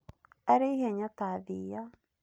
Arĩ ihenya ta thiia.